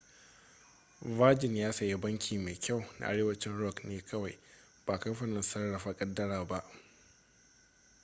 virgin ya sayi ' banki mai kyau' na arewacin rock ne kawai ba kamfanin sarrafa kadara ba